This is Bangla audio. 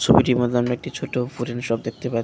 ছবিটির মধ্যে আমরা একটি ছোটো উডেন শপ দেখতে পাচ্ছি।